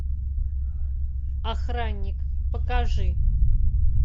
охранник покажи